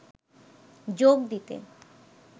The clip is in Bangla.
যোগ দিতে